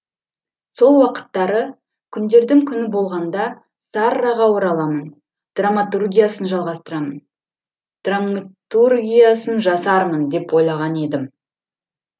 сол уақыттары күндердің күні болғанда сарраға ораламын драматургиясын драматургиясын жасармын деп ойлаған едім